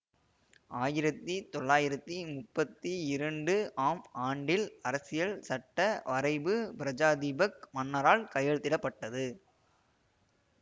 ஆயிரத்தி தொளாயிரத்தி முப்பத்தி இரண்டு ஆம் ஆண்டில் அரசியல்சட்ட வரைபு பிரஜாதீபக் மன்னரால் கையெழுத்திட பட்டது